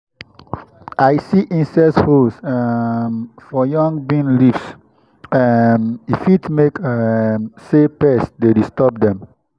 i see insect holes um for young bean leaves. um e fit mean um say pests dey disturb dem.